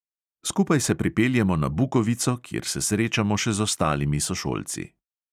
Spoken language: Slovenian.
Skupaj se pripeljemo na bukovico, kjer se srečamo še z ostalimi sošolci.